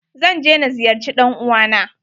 Zan je na ziyarce ɗan uwa na.